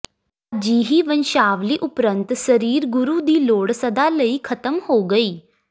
ਅਜਿਹੀ ਵੰਸ਼ਾਵਲੀ ਉਪਰੰਤ ਸਰੀਰ ਗੁਰੂ ਦੀ ਲੋੜ ਸਦਾ ਲਈ ਖ਼ਤਮ ਹੋ ਗਈ